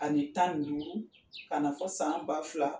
Ani tan duuru ka na fɔ san ba fila